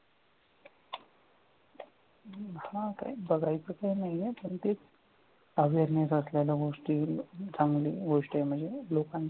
हा काय बघायचं काय नाहीये पण ते awareness असलेल्या गोष्टी चांगल्या गोष्टी म्हणजे लोकांच्या